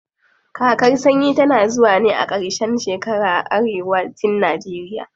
Kakar sanyi tana zuwa ne a ƙarshen shekara a arewa cin najeriya.